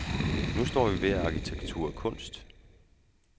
Nu står vi ved at arkitektur er kunst.